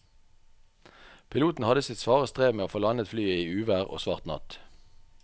Piloten hadde sitt svare strev med å få landet flyet i uvær og svart natt.